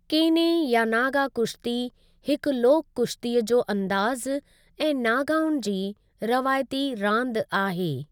केने या नागा कुश्ती हिकु लोक कुश्ती जो अंदाज़ु ऐं नागाउनि जी रवायती रांदि आहे।